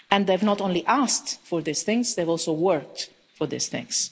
They have not only asked for these things, they have also worked for these things.